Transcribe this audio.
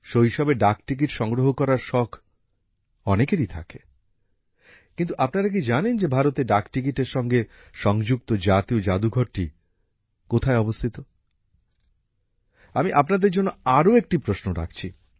শৈশবে ডাকটিকিট সংগ্রহ করার শখ অনেকেরই থাকে কিন্তু আপনারা কি জানেন যে ভারতে ডাকটিকিটের সঙ্গে সংযুক্ত জাতীয় জাদুঘরটি কোথায় অবস্থিত আমি আপনাদের জন্য আরো একটি প্রশ্ন রাখছি